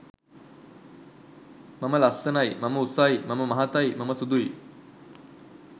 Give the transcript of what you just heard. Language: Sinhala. මම ලස්සනයි, මම උසයි, මම මහතයි, මම සුදුයි